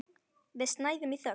Við snæðum í þögn.